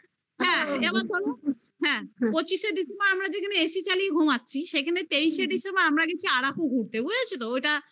হ্যাঁ হ্যাঁ পঁচিশে December আমরা যেখানে AC চালিয়ে ঘুমাচ্ছি সেখানে তেইশে December আমরা গেছি আরাকু ঘুরতে বুঝেছো তো?